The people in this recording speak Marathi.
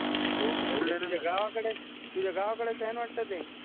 तुझ्या गावाकडचं तुझ्या गावाकडचं आहे ना वाटत ते